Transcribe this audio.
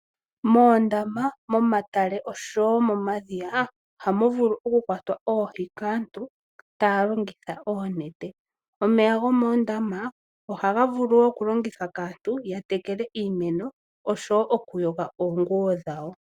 Moondama, momatale noshowo momadhiya ohamu vulu okukwatwa oohi kaantu taya longitha oonete. Omeya gomoondama ohaga vulu wo okulongithwa kaantu ya tekele iimeno noshowo okuyoga oonguwo dhawo.